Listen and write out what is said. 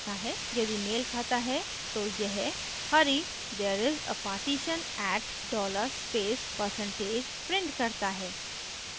यदि मेल खाता है तो यह hurry there s a partition at $dollar space % prints करता है